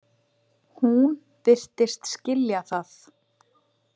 Hún virtist skilja það.